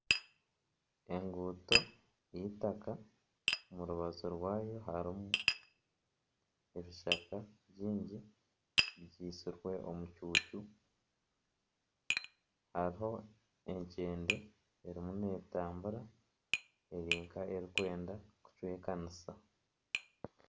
Enguuto y'eitaaka omu rubaju rwayo harimu ebishaka byingi byitsirwe omucucu hariho ekyende erimu netambura eri nk'erikwenda kucwekanisa.